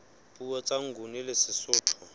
puo tsa nguni le sesotho